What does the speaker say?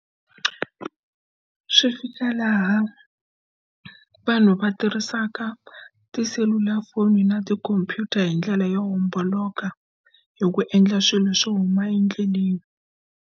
Swi fika laha vanhu va tirhisaka tiselulafoni na tikhompyuta hi ndlela yo homboloka hi ku endla swilo swo huma endleleni.